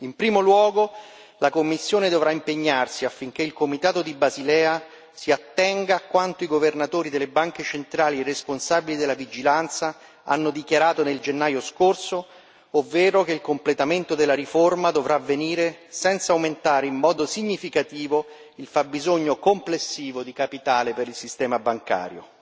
In primo luogo, la Commissione dovrà impegnarsi affinché il Comitato di Basilea si attenga a quanto i governatori delle banche centrali responsabili della vigilanza hanno dichiarato nel gennaio scorso, ovvero che il completamento della riforma dovrà avvenire senza aumentare in modo significativo il fabbisogno complessivo di capitale per il sistema bancario.